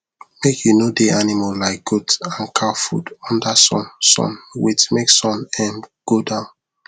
make u no dey animal like goat and cow food under sun sun wait make sun um go down